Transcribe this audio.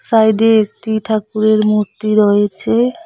Side -এ একটি ঠাকুরের মূর্তি রয়েছে।